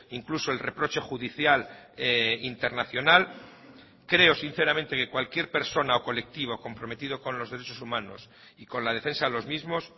incluso el reproche judicial internacional creo sinceramente que cualquier persona o colectivo comprometido con los derechos humanos y con la defensa de los mismos